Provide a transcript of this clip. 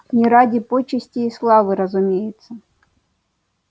не ради почестей и славы разумеется